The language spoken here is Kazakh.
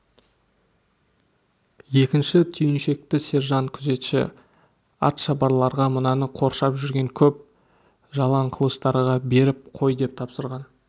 екінші түйіншекті сержант күзетші атшабарларға мынаны қоршап жүрген көп жалаңқылыштарға беріп қой деп тапсырған